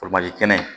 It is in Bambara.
kɛnɛ